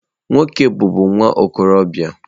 Nwoke bụbu nwa okorobịa.